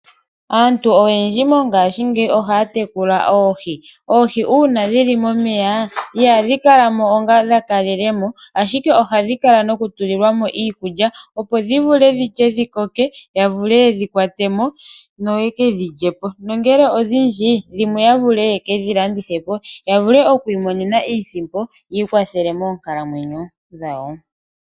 Aantu oyendji mongaashingeyi ohaya tekula oohi. Oohi uuna dhili momeya ihadhi kala mo onga dha kalele mo ashike ohadhi kala noku tulilwa mo iikulya, opo dhi vule dhilye, dhikoke ya vule yedhi kwate mo noye ke dhi lyepo nongele odhindji, dhimwe ya vule yeke dhi landithe po, ya vule oku imonena iisimpo, yi ikwathele moonkalamwenyo dhawo.